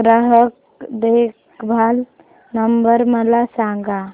ग्राहक देखभाल नंबर मला सांगा